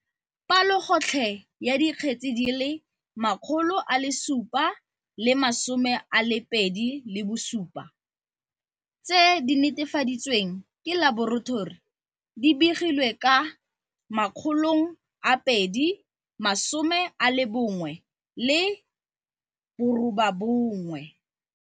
Palogo tlhe ya dikgetse di le 727 tse di netefaditsweng ke laboratori di begilwe ka 2017.